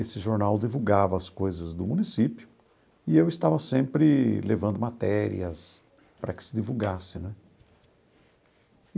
Esse jornal divulgava as coisas do município e eu estava sempre levando matérias para que se divulgasse né.